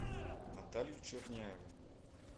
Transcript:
наталью черняеву